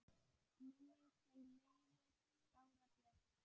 Minning þin lifir, Bára Björk.